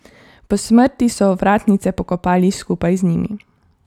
Po smrti so ovratnice pokopali skupaj z njimi.